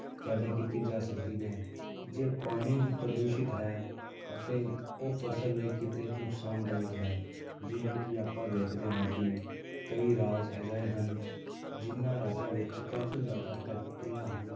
ਪੈਦਾ ਕੀਤੀ ਜਾ ਸਕਦੀ ਹੈ ਜੇ ਪਾਣੀ ਹੀ ਪ੍ਰਦੂਸ਼ਿਤ ਹੈ ਅਤੇ ਉਹ ਫ਼ਸਲ ਲਈ ਕਿਤੇ ਨੁਕਸਾਨਦਾਇਕ ਹੈ, ਜਿਵੇਂ ਕਿ ਆਪਾਂ ਵੇਖਦੇ ਹਾਂ ਕਿ ਕਈ ਰਾਜ ਅਜਿਹੇ ਹਨ, ਜਿਹਨਾਂ ਰਾਜਾਂ ਵਿੱਚ ਕਾਫ਼ੀ ਜ਼ਿਆਦਾ factories ਹਨ